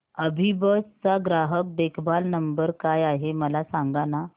अभिबस चा ग्राहक देखभाल नंबर काय आहे मला सांगाना